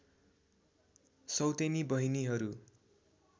सौतेनी बहिनीहरू